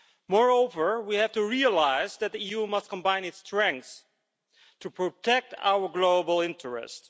Moreover, we have to realise that the EU must combine its strengths to protect our global interest.